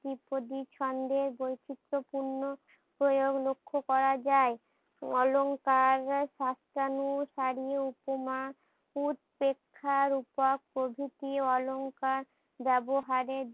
দ্বিপদী ছন্দের বৈচিত্র পূর্ণ প্রয়োগ লক্ষ্য করা যাই। অলংকার সাসানু সারি উপমা উৎপেক্ষার উপক প্রভৃতির অলংকার ব্যবহারে